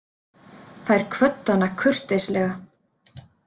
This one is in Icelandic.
Þær kvöddu hana kurteislega.